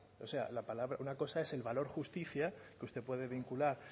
o sea una cosa es el valor justicia que usted puede vincular